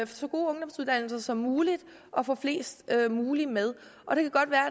så gode ungdomsuddannelser som muligt og få flest mulige med